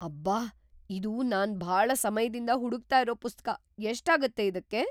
ಅಬ್ಬಾ! ಇದು ನಾನ್ ಭಾಳ ಸಮಯ್ದಿಂದ ಹುಡುಕ್ತಾ ಇರೋ ಪುಸ್ತಕ. ಎಷ್ಟಾಗತ್ತೆ ಇದಕ್ಕೆ?